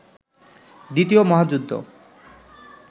দ্বিতীয় মহাযুদ্ধ